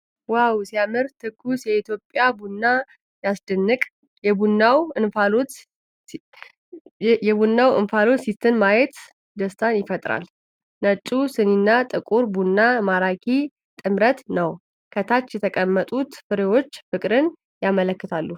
ዋው ሲያምር! ትኩስ የኢትዮጵያ ቡና! ሲያስደንቅ! የቡናው እንፋሎት ሲተን ማየት ደስታን ይፈጥራል። ነጩ ሲኒና ጥቁሩ ቡና ማራኪ ጥምረት ነው። ከታች የተቀመጡት ፍሬዎች ፍቅርን ያመለክታሉ።